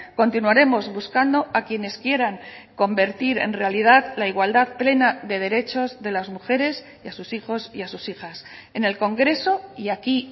continuaremos buscando a quienes quieran convertir en realidad la igualdad plena de derechos de las mujeres y a sus hijos y a sus hijas en el congreso y aquí